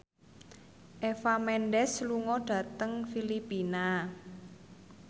Eva Mendes lunga dhateng Filipina